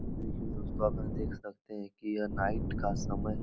में देख सकते हैं की ये नाईट का समय है।